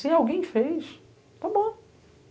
Se alguém fez, está bom.